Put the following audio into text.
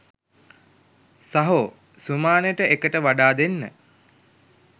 සහෝ සුමානෙට එකට වඩා දෙන්න